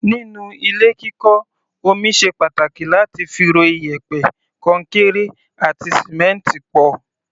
Nínú ilé kíkọ́, omi ṣe pàtàkì láti fi ro iyẹ̀pẹ̀, kọnkéré àti sìmẹ́ǹtì pọ̀.